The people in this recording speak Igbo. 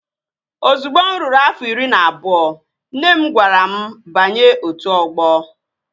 Ozugbo mụ ruru afọ iri na abụọ, nne m gwara m banye otu ọgbọ